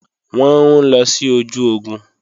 Wọ́n ń lọ sí ojú ogun